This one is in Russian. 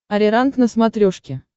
ариранг на смотрешке